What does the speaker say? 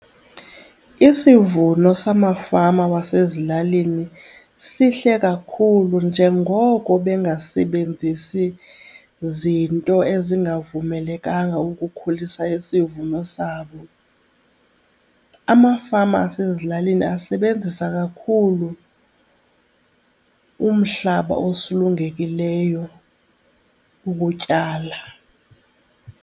Isivuno samafama wasezilalini sihle kakhulu njengoko bengasebenzisi zinto ezingavumelekanga ukukhulisa isivuno sabo. Amafama asezilalini asebenzisa kakhulu umhlaba osulungekileyo ukutyala.